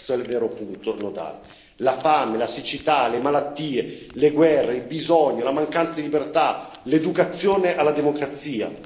Questo è il vero punto nodale la fame, la siccità, le malattie, le guerre, il bisogno, la mancanza di libertà, l'educazione alla democrazia.